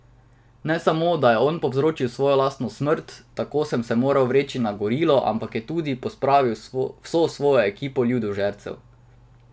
Ne samo, da je on povzročil svojo lastno smrt, tako da sem se moral vreči na gorilo, ampak je tudi pospravil vso svojo ekipo ljudožercev.